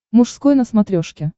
мужской на смотрешке